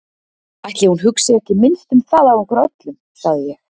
Ætli hún hugsi ekki minnst um það af okkur öllum, sagði ég.